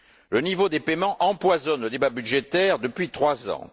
Le niveau des paiements empoisonne le débat budgétaire depuis trois ans.